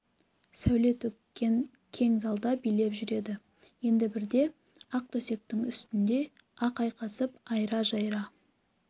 сәуле төккен кең залда билеп жүреді енді бірде ақ төсектің үстінде ақ айқасып айра-жайра